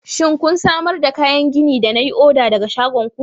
shin kun samar da kayan gini da na yi oda daga shagon ku.